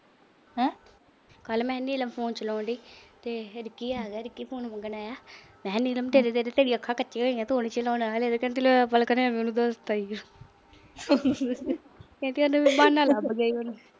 ਕੱਲ੍ਹ ਮੈਂ ਨੀਲਮ phone ਚਲਾਉਣ ਡਈ ਤੇ ਫਿਰ ਕੀ ਆ ਰਿੱਕੀ phone ਮੰਗਣ ਆਇਆ। ਮੈਂ ਕਿਹਾ ਨੀਲਮ ਤੇਰੀਆਂ ਅੱਖਾਂ ਕੱਚੀਆਂ ਹੋਈਆਂ, ਤੂੰ ਨੀ ਚਲਾਉਣਾ ਹਾਲੇ। ਕਹਿੰਦੀ ਲੈ ਦੱਸਤਾ ਈ। ਕਹਿੰਦੀ ਉਹਨੂੰ ਬਹਾਨਾ ਲੱਭ ਗਿਆ।